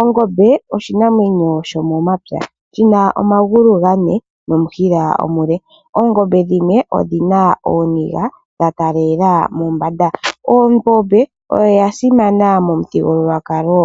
Ongombe oshinamwenyo sho momapya shina omagulu gane nomushila omule. Oongombe dhimwe odhina ooniga dha taalela mombanda, ongombe oyo yasimana momuthigululwakalo